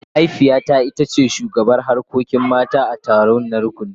Mahaifiyata ita ce shugabar harkokin mata a taronta na rukuni.